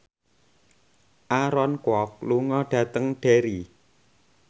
Aaron Kwok lunga dhateng Derry